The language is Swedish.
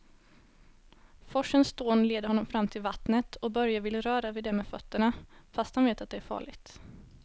Forsens dån leder honom fram till vattnet och Börje vill röra vid det med fötterna, fast han vet att det är farligt.